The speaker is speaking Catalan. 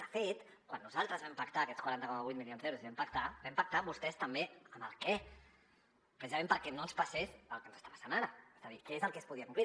de fet quan nosaltres vam pactar aquests quaranta coma vuit milions d’euros que vam pactar vam pactar amb vostès també el què precisament perquè no ens passés el que ens està passant ara és a dir què és el que es podia complir